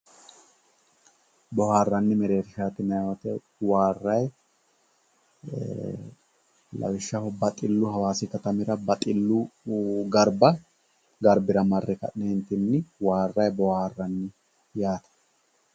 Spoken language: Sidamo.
boohaarranni mereershaati yinayi woyiite waarrayi lawishshaho baxillu hawaasi katamira baxillu garbira marre waarrayi boohaarrayi yaate